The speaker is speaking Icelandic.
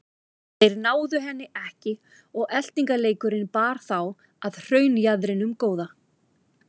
Þeir náðu henni ekki og eltingaleikurinn bar þá að hraunjaðrinum góða.